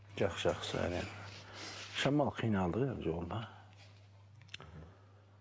жақсы жақсы шамалы қиналдық енді жолда